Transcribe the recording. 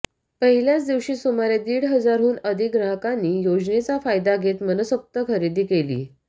पहिल्याच दिवशी सुमारे दीड हजाराहून अधिक ग्राहकांनी योेजनेचा फायदा घेत मनसोक्त खरेदी केली